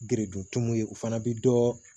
Geredetu ye u fana bɛ dɔ